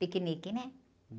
Piquenique, né?